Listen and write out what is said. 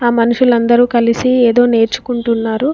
ఆ మనుషులందరూ కలిసి ఏదో నేర్చుకుంటున్నారు.